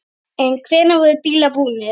En hvernig voru bílarnir búnir?